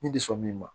Ne tɛ sɔn min ma